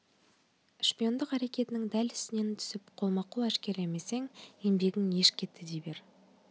шпиондық әрекетінің дәл үстінен түсіп қолма-қол әшкерелемесең еңбегің еш кетті дей бер